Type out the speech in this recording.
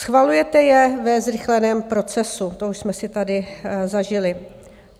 Schvalujete je ve zrychleném procesu, to už jsme si tady zažili.